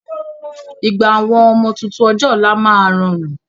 Ìgbà àwọn ọmọ tuntun ọjọ́ ọ̀la máa rọrùn